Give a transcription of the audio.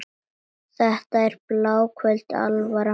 Þetta er bláköld alvara.